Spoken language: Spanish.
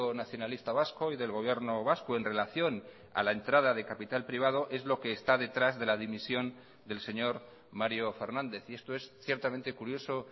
nacionalista vasco y del gobierno vasco en relación a la entrada de capital privado es lo que está detrás de la dimisión del señor mario fernández y esto es ciertamente curioso